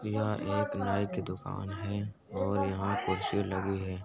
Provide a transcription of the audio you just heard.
यहाँ एक नाई की दुकान है और यहाँ कुर्सी लगी है।